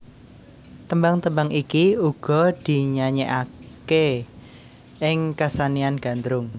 Tembang tembang iki uga dinyanyèkké ing kasenian Gandrung